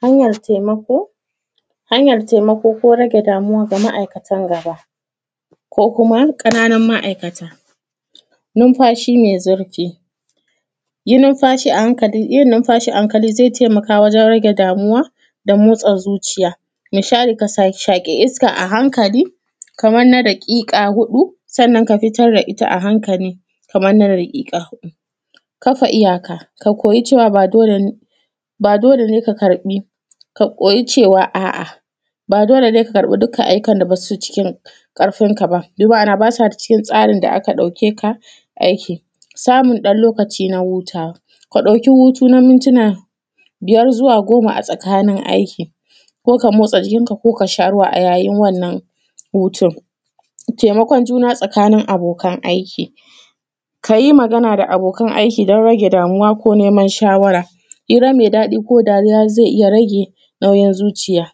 Hanyan taimako. Hanyan taimako ko rage damuwa na ma’aikatan gaba ko kuma ƙananun ma’aikata numfashi me zurfi, yi numfashi, yin numfashi a hankali ze taimaka wajen rage damuwa da motsan zuciya, ya shaƙi iska a hankali kaman na daƙiƙa huɗu sannan ka fitar da ita a hankali kamar na daƙiƙa huɗu, kafa iyaka ka koyi cewa ba dole ne ka karɓi ka koyi cewa a’a, ba dole ne ka karɓi dukkan ayyuka da masu cin ƙarfin ka ba kana ba su cikin tsarin da ka ɗauke ka aiki. Samun ɗan lokaci na hutawa, ka ɗauki hutu na ɗan mintina biyar zuwa goma a tsakanin aiki ko ka motsa jikin ka ko ka sha ruwa yayin wannan hutu. Taimakon juna tsakanin abokan aiki, ka yi magana da abokan aiki don rage damuwa ko neman shawara, hira me daɗi ko rayuwa ze iya rage ɗanyan zuciya,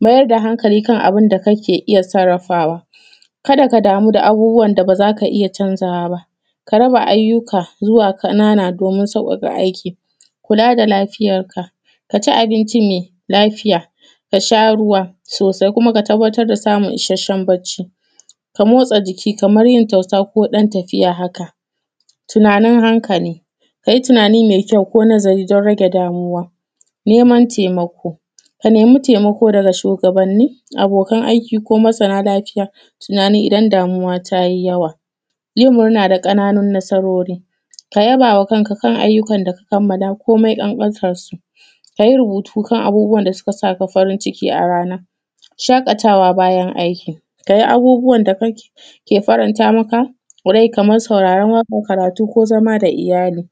mayar da hankali kan abun da kake iya sarrafawa ka da ka damu da abubuwan da ba za ka iya canza wa ba, ka raba ayyuka zuwa ƙannan domin sauƙaƙa aiki, kula da lafiyarka, ka ci abinci me lafiya, ka sha ruwa sosai kuma ka tabbatar da samun ishashen bacci, ka motsa jiki kaman yin tausa ko ɗan tafiya. Haka tunanin hankali ka yi tunani me kyau ko nazari don rage damuwa neman taimako ka nemi taimako daga shugabanni abokan aiki ko masana lafiya, tunani idan damuwa ta yi yawa yin murna da ƙananun matsaloli ka yaba wa kanka kan ayyukan da ka kammala komin ƙanƙantansu, ka yi rubutu kan ayyukan da suka saka farinciki a ranar shaƙatawa bayan aiki ka yi abubuwan da kake faranta maka rai, kaman sauraran waƙa karatu ko zama da iyali.